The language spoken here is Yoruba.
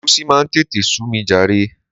Egusi máa ń tètè sú mi jàre.